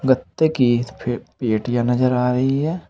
गत्ते की फे पेटियां नजर आ रही है।